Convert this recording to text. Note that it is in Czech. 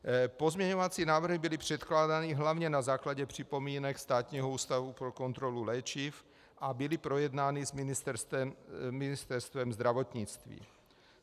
Pozměňovací návrhy byly předkládány hlavně na základě připomínek Státního ústavu pro kontrolu léčiv a byly projednány s Ministerstvem zdravotnictví.